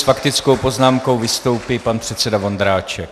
S faktickou poznámkou vystoupí pan předseda Vondráček.